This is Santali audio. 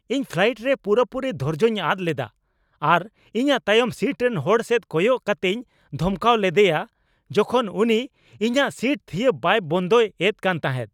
ᱤᱧ ᱯᱷᱞᱟᱭᱤᱴ ᱨᱮ ᱯᱩᱨᱟᱹᱯᱩᱨᱤ ᱫᱷᱳᱨᱡᱚᱧ ᱟᱫ ᱞᱮᱫᱟ ᱟᱨ ᱤᱧᱟᱹᱜ ᱛᱟᱭᱚᱢ ᱥᱤᱴ ᱨᱮᱱ ᱦᱚᱲ ᱥᱮᱫ ᱠᱚᱭᱚᱜ ᱠᱟᱛᱮᱧ ᱫᱷᱚᱢᱠᱟᱣ ᱞᱮᱫᱭᱟ ᱡᱚᱠᱷᱚᱱ ᱩᱱᱤ ᱤᱧᱟᱹᱜ ᱥᱤᱴ ᱛᱷᱤᱭᱟᱹ ᱵᱟᱭ ᱵᱚᱱᱫᱯᱚᱭ ᱮᱫ ᱠᱟᱱ ᱛᱟᱦᱮᱸᱫ ᱾